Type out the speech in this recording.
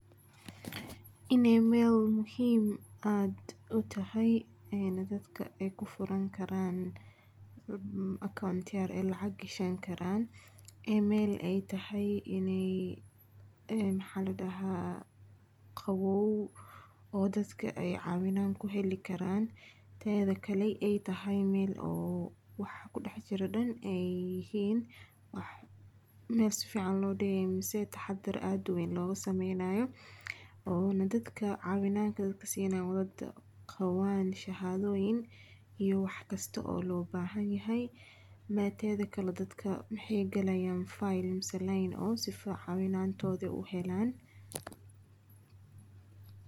Ineey meel muhiim aad utahay, dadka aay kufuran karaan account aay lacag gashan karaan, in aay tahay meel qaboow, oo dadka aay caawinaad kuheli karaan, teeda kale aay tahay meel oo waxa kudex jiro dan aay yihiin wax meel sifican loo dige mise taxadar weyn lagu sameeynayo, oona dadka caawinaad siinayo dadka waa dad qabaan shahaadoyin iyo wax kasta oo loo bahan yahay, teeda kale dadka waxaay galaayan file mise line si aay caawinaantooda aay uhelaan.